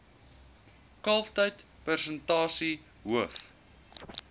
kalftyd persentasie hoof